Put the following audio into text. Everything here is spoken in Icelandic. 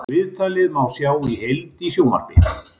Viðtalið má sjá í heild í sjónvarp